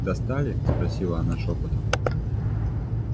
достали спросила она шёпотом